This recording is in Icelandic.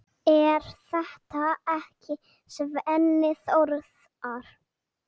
Er þetta ekki Svenni Þórðar?